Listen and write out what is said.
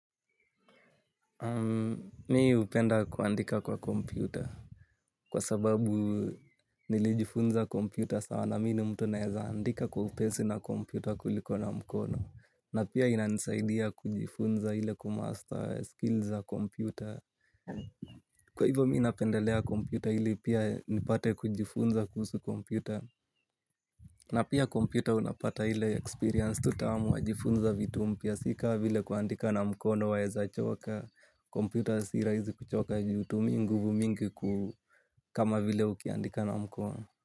Mi hupenda kuandika kwa kompyuta kwa sababu nilijifunza kompyuta sana mi ni mtu naeza andika kwa upesi na kompyuta kuliko na mkono. Na pia inanisaidia kujifunza ile kumasta skills za kompyuta. Kwa hivyo mi napendelea kompyuta ili pia nipate kujifunza kuhusu kompyuta. Na pia kompyuta unapata ile experience tu tamu wajifunza vitu mpya si ka vile kuandika na mkono waezachoka, kompyuta si rahizi kuchoka juu hutumii nguvu mingi kama vile ukiandika na mkono.